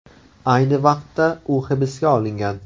Ayni vaqtda u hibsga olingan.